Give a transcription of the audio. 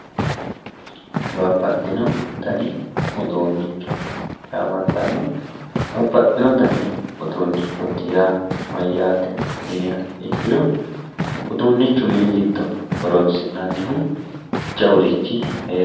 babbaxinno danni uduunnicho yaamantanno uduunnichooti yaa mayyaate yiniha ikkiro uduunnichu mini giddo horoonsi'nannihu jawurichi heera